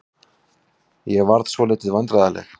Ég varð svolítið vandræðaleg.